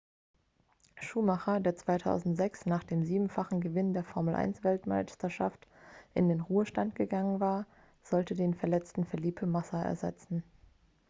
schumacher der 2006 nach dem siebenfachen gewinn der formel-1-weltmeisterschaft in den ruhestand gegangen war sollte den verletzten felipe massa ersetzen